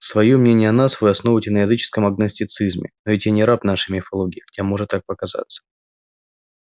своё мнение о нас вы основываете на языческом агностицизме но ведь я не раб нашей мифологии хотя может так показаться